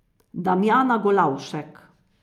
Damjana Golavšek.